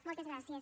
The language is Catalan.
moltes gràcies